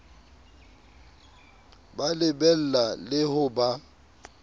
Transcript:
ba lebella le ho ba